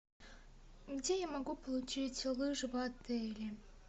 где я могу получить лыжи в отеле